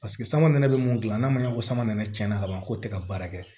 Paseke sama nɛnɛ be mun gilan n'a ma ɲɛ ko samara tiɲɛna ka ban k'o tɛ ka baara kɛ